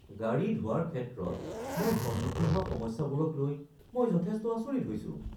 গাড়ী ধোৱাৰ ক্ষেত্ৰত মই সন্মুখীন হোৱা সমস্যাবোৰক লৈ মই যথেষ্ট আচৰিত হৈছোঁ।